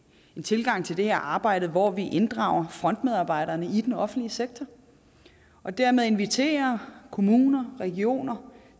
en tilgang til det her arbejde hvor vi inddrager frontmedarbejderne i den offentlige sektor og dermed inviterer kommuner regioner